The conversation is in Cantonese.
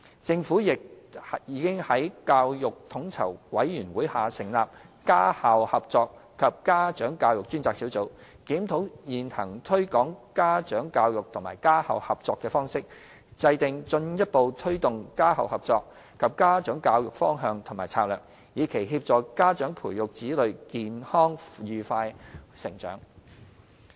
政府亦已在教育統籌委員會下成立家校合作及家長教育專責小組，檢討現行推廣家長教育及家校合作的方式，制訂進一步推動家校合作及家長教育的方向及策略，以期協助家長培育子女健康愉快地成長。